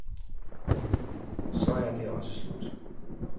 Så er det også slut.